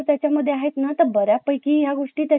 education करू शकत आहे ते लोक